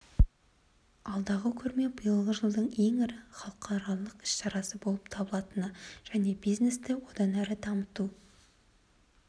алдағы көрме биылғы жылдың ең ірі халықаралық іс-шарасы болып табылатыны және бизнесті одан әрі дамыту